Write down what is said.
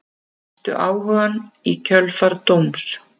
Misstu áhugann í kjölfar dóms